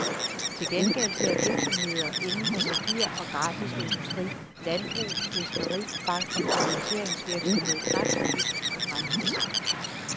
Til gengæld ser virksomheder indenfor papir og grafisk industri, landbrug, fiskeri, bank- og finansieringsvirksomhed knap så lyst på fremtiden.